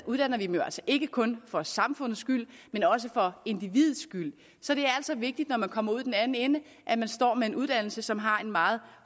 uddanner vi dem jo altså ikke kun for samfundets skyld men også for individets skyld så det er altså vigtigt når man kommer ud i den anden ende står med en uddannelse som har en meget